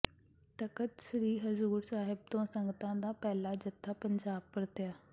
ਤਖਤ ਸ੍ਰੀ ਹਜੂਰ ਸਾਹਿਬ ਤੋਂ ਸੰਗਤਾਂ ਦਾ ਪਹਿਲਾ ਜੱਥਾ ਪੰਜਾਬ ਪਰਤਿਆ